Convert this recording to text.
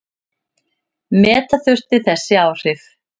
Meta þurfi þessi áhrif.